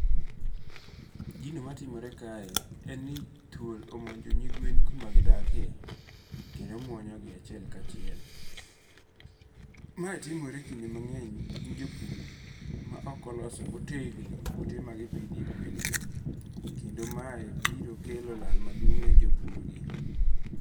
Gino matimore kae en ni thuol omonjo nyigwen kumagidakie, kendo muonyogi achiel kachiel, mae timore kinde mange'ny ne jopur ma okoloso motegno ute magipithie gwengi, kendo mae biro kelo lal maduong' ni jopurgi.